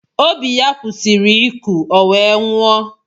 Obi ya kwụsịrị ịkụ ọ wee nwụọ